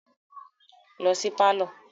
Lọ sí pálọ̀